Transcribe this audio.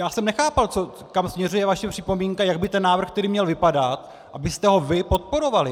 Já jsem nechápal, kam směřuje vaše připomínka, jak by ten návrh tedy měl vypadat, abyste ho vy podporovali.